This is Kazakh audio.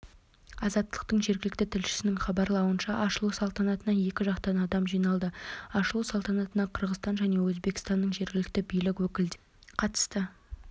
азаттықтың жергілікті тілшісінің хабарлауынша ашылу салтанатына екі жақтан адам жиналды ашылу салтанатына қырғызстан және өзбекстанның жергілікті билік өкілдері қатысты